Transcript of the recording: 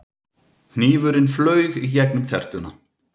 Hnífurinn flaug í gegnum tertuna.